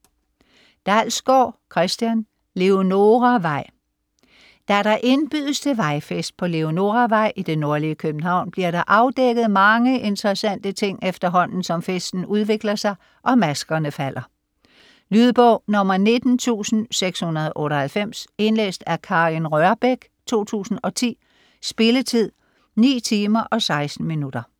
Dalsgaard, Christian: Leonoravej Da der indbydes til vejfest på Leonoravej i det nordlige København, bliver der afdækket mange interessante ting, efterhånden som festen udvikler sig, og maskerne falder. Lydbog 19698 Indlæst af Karin Rørbech, 2010. Spilletid: 9 timer, 16 minutter.